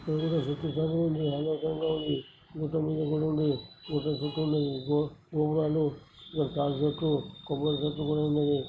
ఇక్కడ చూసుకున్నట్టు అయితే పైన ఆకాశం ల ఉంది. గుట్ట మీద గుడి ఉంది. గుట్ట చుట్టూ ఉన్నది. గోపురాలు ప్రాజెక్టులు కొబ్బరి చెట్టు కూడా ఉంది.